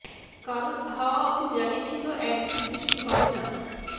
কারণ হাওয়া অফিস জানিয়েছিল একদিন বৃষ্টি হবে না